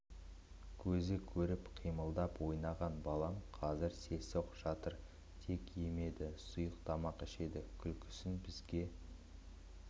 көзі көріп қимылдап ойнаған балам қазір селсоқ жатыр тек емеді сұйық тамақ ішеді күлкісін бізге